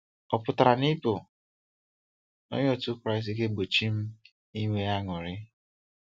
Ọ pụtara na ịbụ onye otu Kraịst ga-egbochi m inwe aṅụrị?